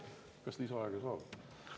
Kas lisaaega saab?